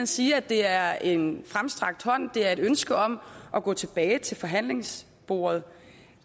sige at det er en fremstrakt hånd det er et ønske om at gå tilbage til forhandlingsbordet